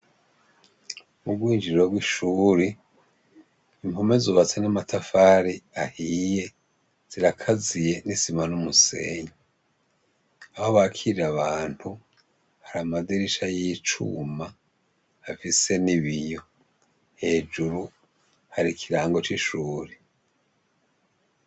Mubwinjiriro w'ishure impome zubatse n'amatafari ahiye zirakaziye n'isima n'umusenyi. Aho bakirira abantu hari amadirisha y'ivyuma afise ibiyo hejuru hari ikirangi cishure.